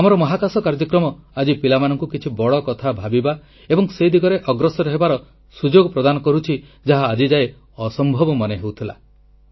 ଆମର ମହାକାଶ କାର୍ଯ୍ୟକ୍ରମ ଆଜି ପିଲାମାନଙ୍କୁ କିଛି ବଡ଼କଥା ଭାବିବା ଏବଂ ସେ ଦିଗରେ ଅଗ୍ରସର ହେବାର ସୁଯୋଗ ପ୍ରଦାନ କରୁଛି ଯାହା ଆଜିଯାଏ ଅସମ୍ଭବ ମନେ ହେଉଥିଲା